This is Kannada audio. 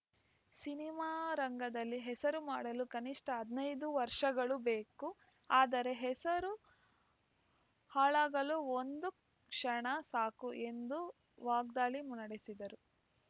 ಸಿನಿಮಾ ರಂಗದಲ್ಲಿ ಹೆಸರು ಮಾಡಲು ಕನಿಷ್ಠ ಹದಿನೈದು ವರ್ಷಗಳು ಬೇಕು ಆದರೆ ಹೆಸರು ಹಾಳಾಗಲು ಒಂದು ಕ್ಷಣ ಸಾಕು ಎಂದು ವಾಗ್ದಾಳಿ ನಡೆಸಿದರು